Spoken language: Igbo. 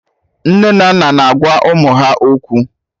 Nne na nna na agwa ụmụ ha okwu